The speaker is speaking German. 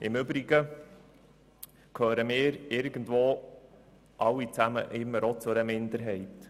Im Übrigen gehören wir alle auch irgendwo zu einer Minderheit.